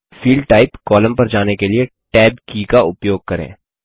field type column पर जाने के लिए टैब की का उपयोग करें